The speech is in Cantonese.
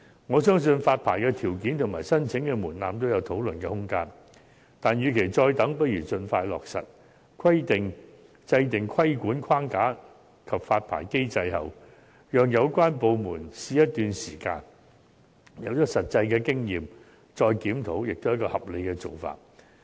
我相信發牌條件及申請門檻均有討論的空間，但與其再等，倒不如盡快落實，讓有關部門在訂立規管框架及發牌機制，並試行一段時間，取得一些實際經驗後再作檢討，也是合理的做法。